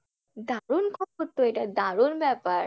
দারুণ খবর তো এটা দারুণ ব্যাপার